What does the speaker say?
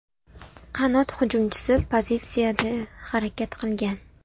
Qanot hujumchisi pozitsiyasida harakat qilgan.